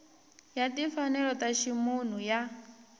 ya timfanelo ta ximunhu ya